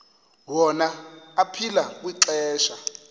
wona aphila kwixesha